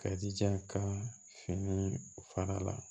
Ka ija ka fini faga la